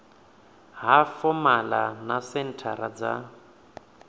ha fomala na senthara dza